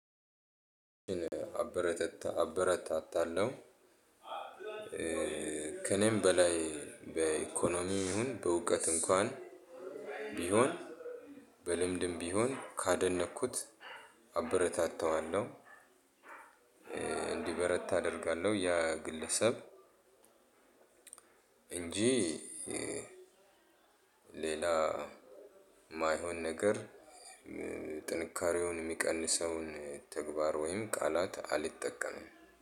አበረታታ አበረታታለው ከእኔም በላይ በኢኮኖሚ ይሁን በእውቀት እንኳን ቢሆን በልምድም ቢሆን ካደነቅኩት አበረታታዋለሁ። እንዲበረት አደርጋለሁ ያ ግለሰብ። እንጂ ሌላ የማይሆን ነገር ጥንካሬውን የሚቀንሰውን ተግባር ወይም ቃላት አልጠቀምም።